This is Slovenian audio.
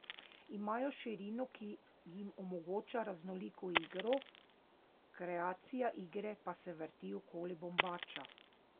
Imajo širino, ki jim omogoča raznoliko igro, kreacija igre pa se vrti okoli Bombača.